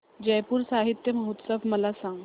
जयपुर साहित्य महोत्सव मला सांग